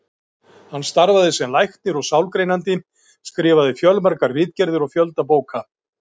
Hann starfaði sem læknir og sálgreinandi, skrifaði fjölmargar ritgerðir og fjölda bóka.